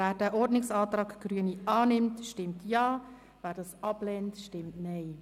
Wer den Ordnungsantrag Grüne annimmt, stimmt Ja, wer diesen ablehnt, stimmt Nein.